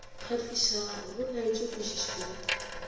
kgahlišago go laetšwe kwešišo ya